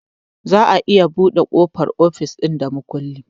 Za a iya buɗe ƙofar ofis da makulli